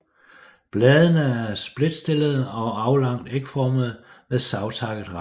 Bladene er spredtstillede og aflangt ægformede med savtakket rand